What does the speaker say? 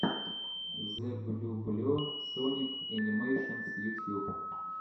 зэблюбле соник энимэйшенс ютьюб